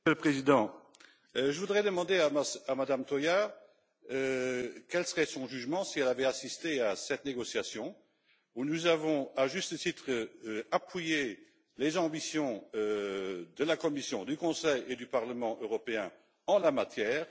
Monsieur le Président, je voudrais demander à Madame Toia quel serait son jugement si elle avait assisté à cette négociation où nous avons, à juste titre, appuyé les ambitions de la Commission, du Conseil et du Parlement européen en la matière.